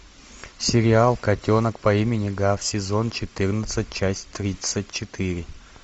сериал котенок по имени гав сезон четырнадцать часть тридцать четыре